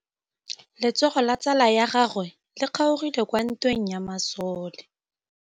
Letsôgô la tsala ya gagwe le kgaogile kwa ntweng ya masole.